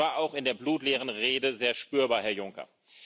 Das war auch in der blutleeren Rede sehr spürbar, Herr Juncker.